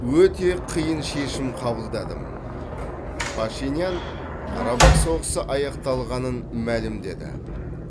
өте қиын шешім қабылдадым пашинян қарабақ соғысы аяқталғанын мәлімдеді